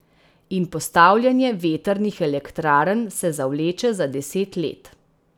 In postavljanje vetrnih elektrarn se zavleče za deset let.